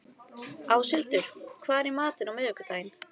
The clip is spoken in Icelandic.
Áshildur, hvað er í matinn á miðvikudaginn?